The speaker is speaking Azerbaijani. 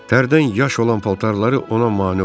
Tərdən yaş olan paltarları ona mane olurdu.